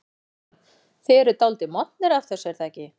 Kristján: Þið eruð dálítið montnir af þessu er það ekki?